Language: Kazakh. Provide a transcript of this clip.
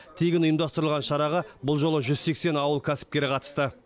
тегін ұйымдастырылған шараға бұл жолы жүз сексен ауыл кәсіпкері қатысты